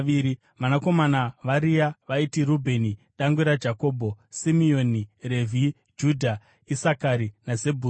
Vanakomana vaRea vaiti: Rubheni dangwe raJakobho, Simeoni, Revhi, Judha, Isakari naZebhuruni.